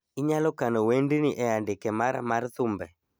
inyalo kano wendni e andike mara mar thumbe